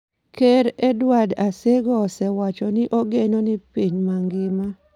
Ker Edward Asego osewacho ni ogeno ni piny mangima